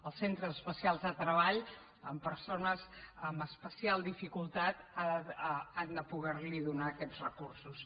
els centres especials de treball amb persones amb especial dificultat han de poder li donar aquests recursos